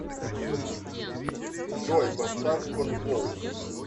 джой поставь конволк